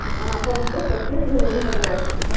аа по вопросу обслуживания интернет